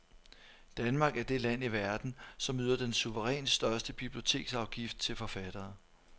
Danmark er det land i verden, som yder den suverænt største biblioteksafgift til forfattere.